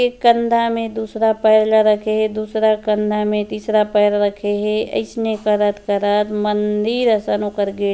ऐ कन्धा में दूसरा पैर ला रखे हे दूसरा कन्धा में तीसरा पैर रखे हे। इसने करत करत मंदिर गेट --